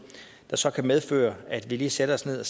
der så kan medføre at vi lige sætter os ned og